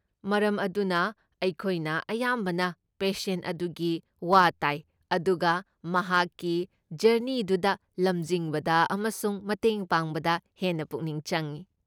ꯃꯔꯝ ꯑꯗꯨꯅ ꯑꯩꯈꯣꯏꯅ ꯑꯌꯥꯝꯕꯅ ꯄꯦꯁꯦꯟ ꯑꯗꯨꯒꯤ ꯋꯥ ꯇꯥꯏ ꯑꯗꯨꯒ ꯃꯍꯥꯛꯀꯤ ꯖꯔꯅꯤꯗꯨꯗ ꯂꯝꯖꯤꯡꯕꯗ ꯑꯃꯁꯨꯡ ꯃꯇꯦꯡ ꯄꯥꯡꯕꯗ ꯍꯦꯟꯅ ꯄꯨꯛꯅꯤꯡ ꯆꯪꯏ꯫